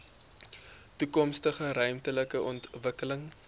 toekomstige ruimtelike ontwikkeling